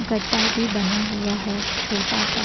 गड्ढा भी बना हुआ है छोटा सा।